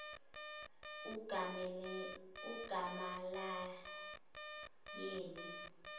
ugamalayeli